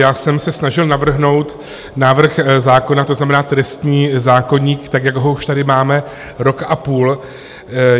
Já jsem se snažil navrhnout návrh zákona, to znamená trestní zákoník, tak jak ho už tady máme rok a půl.